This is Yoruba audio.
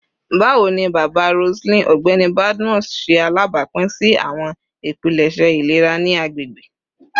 Bawo ni baba Roseline, Ọgbẹni Badmus, ṣe alabapin si awọn ipilẹṣẹ ilera ni agbegbe?